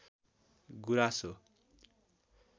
गुराँस हो